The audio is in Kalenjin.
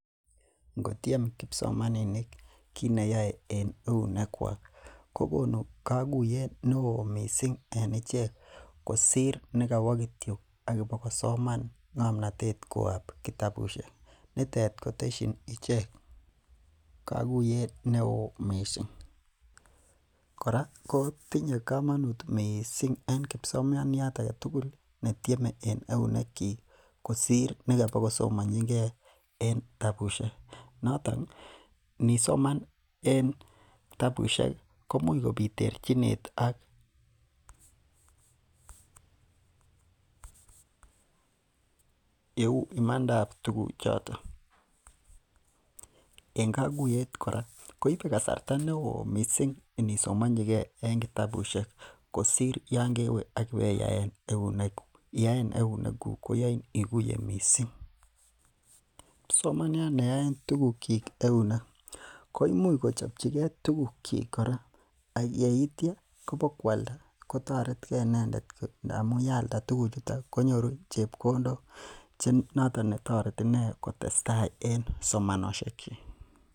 Ingo time kibsomaninik kineyoe en eunek kwak kokonu kaguyet neoo missing en ichek, kosir nikobokosoman ng'amnotet kitio en kitabusiek nitet kotesien ichek kokuyet neoo missing. Kora tinye komonuut missing en kibsomaniat agetugul netieme en eunek chik kosir nikobokosomanchike en kitabusiek, notoon inisoman en kitabusiek imuch kobit terchinet ak yeuu imandab tuguk choton, en koguyet kora koibe kasarta neoo missing inisomanchike en kitabusiek kosir Yoon kewe iweyaen euneguk, iyoen euneguk koyoin iguye missing. Kibsomaniat neyoen enekyik tuguk koimuch kochobchige tuguk chik kora yaitia kobokualda ak kotaret konyor chebkondok noton netoreti inee kotestai en somanosiek chik